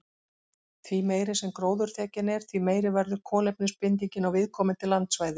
Því meiri sem gróðurþekjan er, því meiri verður kolefnisbindingin á viðkomandi landsvæði.